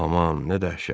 Aman, nə dəhşət!